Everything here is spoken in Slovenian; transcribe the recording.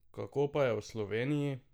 Kako pa je v Sloveniji?